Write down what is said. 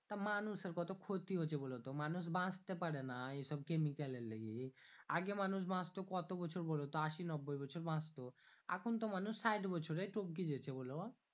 তা মানুষের কত ক্ষতি হছে বলো তো মানুষ বাঁচতে পারে না এসব Chemical এর লেগি আগে মানুষ বাঁচতো কত বছর বোলো তো আশি নব্বই বছর বাঁচতো এখুন তো মানুষ ষাট বছরেই টপকে যেছে বোলো